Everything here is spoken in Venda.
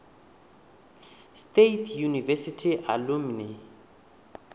state university alumni